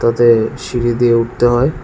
সিঁড়ি দিয়ে উঠতে হয়।